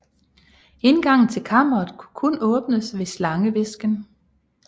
Indgangen til Kammeret kunne kun åbnes ved slangehvisken